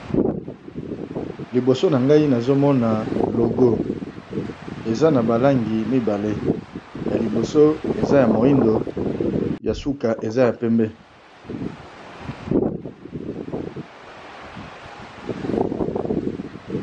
Libosonangayi nazomona logo eza nabalangi mibali yaliboso eza yamoindo yasuka eza ya pembe